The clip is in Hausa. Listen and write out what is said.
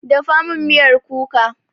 Dafa min miyar kuka!